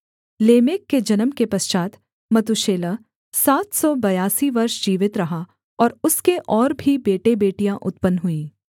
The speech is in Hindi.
लेमेक के जन्म के पश्चात् मतूशेलह सात सौ बयासी वर्ष जीवित रहा और उसके और भी बेटेबेटियाँ उत्पन्न हुईं